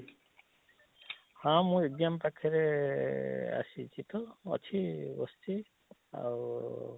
ହଁ ମୁଁ exam ପାଖରେ ଆଃ ଆଃ ଆସିଛି ତ ଅଛି ବସିଛି ଆଉ?